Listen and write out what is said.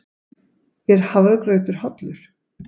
Er hafragrautur hollur?